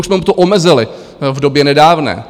Už jsme mu to omezili v době nedávné.